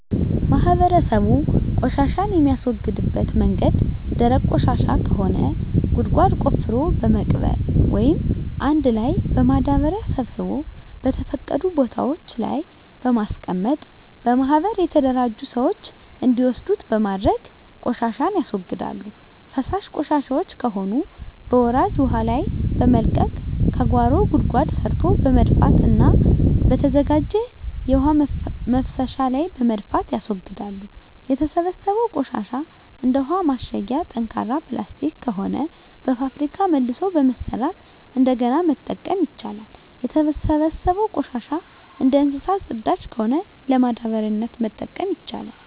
ማህበረሰቡ ቆሻሻን የሚያስወግድበት መንገድ ደረቅ ቆሻሻ ከሆነ ጉድጓድ ቆፍሮ በመቅበር ወይም አንድ ላይ በማዳበሪያ ሰብስቦ በተፈቀዱ ቦታወች ላይ በማስቀመጥ በማህበር የተደራጁ ስዎች እንዲወስዱት በማድረግ ቆሻሻን ያስወግዳሉ። ፈሳሽ ቆሻሻወች ከሆኑ በወራጅ ውሀ ላይ በመልቀቅ ከጓሮ ጉድጓድ ሰርቶ በመድፋትና በተዘጋጀ የውሀ መፍሰሻ ላይ በመድፋት ያስወግዳሉ። የተሰበሰበው ቆሻሻ እንደ ውሀ ማሸጊያ ጠንካራ ፕላስቲክ ከሆነ በፋብሪካ መልሶ በመስራት እንደገና መጠቀም ይቻላል። የተሰበሰበው ቆሻሻ እንደ እንሰሳት ፅዳጅ ከሆነ ለማዳበሪያነት መጠቀም ይቻላል።